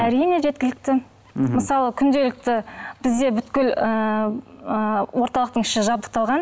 әрине жеткілікті мхм мысалы күнделікті бізде ыыы орталықтың іші жабдықталған